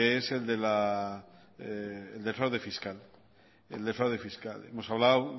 es el del fraude fiscal hemos hablado